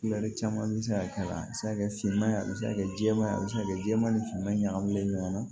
caman bɛ se ka k'a la a bɛ se ka kɛ finman ye a bɛ se ka kɛ jɛman ye a bɛ se ka kɛ jɛman ni finma ɲagaminen ɲɔgɔn na